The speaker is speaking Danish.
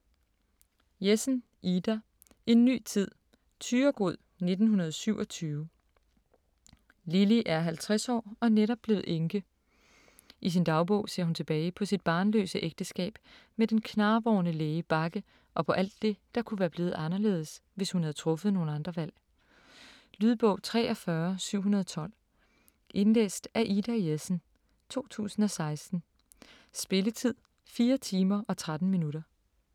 Jessen, Ida: En ny tid Thyregod, 1927. Lilly er 50 år og netop blevet enke. I sin dagbog ser hun tilbage på sit barnløse ægteskab med den knarvorne læge Bagge og på alt det, der kunne være blevet anderledes, hvis hun havde truffet nogle andre valg. Lydbog 43712 Indlæst af Ida Jessen, 2016. Spilletid: 4 timer, 13 minutter.